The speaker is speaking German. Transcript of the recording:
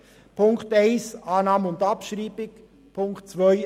Punkt 1: Annahme und Abschreibung, Punkt 2: